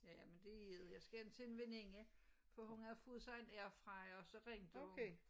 Ja men det er det jeg skal hjem til en veninde for hun har fået sig en airfryer og så ringede hun